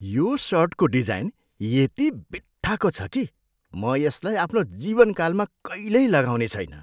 यो सर्टको डिजाइन यति बित्थाको छ कि म यसलाई आफ्नो जीवनकालमा कहिल्यै लगाउने छैन।